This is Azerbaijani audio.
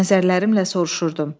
Nəzərlərimlə soruşurdum.